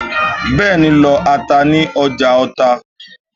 Bẹ́ẹ̀ni, lọ ata ní ọjà Ọta